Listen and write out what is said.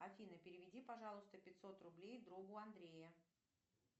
афина переведи пожалуйста пятьсот рублей другу андрея